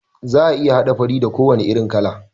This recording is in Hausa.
Za'a iya haɗa fari da ko wane irin kala